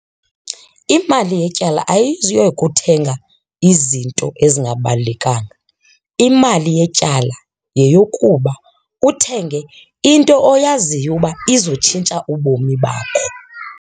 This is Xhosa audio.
Imali yetyala kuthenga izinto ezingabalulekanga. Imali yetyala yeyokuba uthenge into oyaziyo uba izotshintsha ubomi bakho.